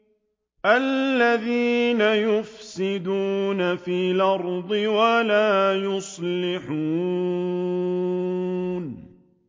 الَّذِينَ يُفْسِدُونَ فِي الْأَرْضِ وَلَا يُصْلِحُونَ